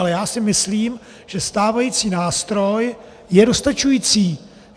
Ale já si myslím, že stávající nástroj je dostačující.